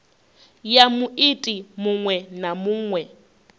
ya muiti muṅwe na muṅwe